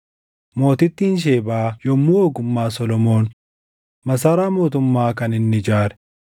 Mootittiin Shebaa yommuu ogummaa Solomoon, masaraa mootummaa kan inni ijaare,